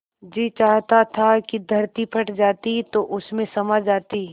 जी चाहता था कि धरती फट जाती तो उसमें समा जाती